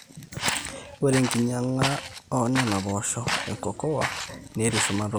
ore enkinyanga oonena poosho ecocoa netii shumata oleng